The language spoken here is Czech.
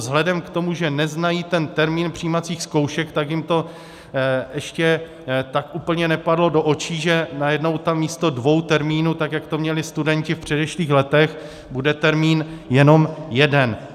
Vzhledem k tomu, že neznají ten termín přijímacích zkoušek, tak jim to ještě tak úplně nepadlo do očí, že najednou tam místo dvou termínů, tak jak to měli studenti v předešlých letech, bude termín jenom jeden.